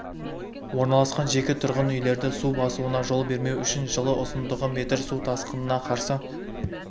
орналасқан жеке тұрғын үйлерді су басуына жол бермеу үшін жылы ұзындығы метр су тасқынына қарсы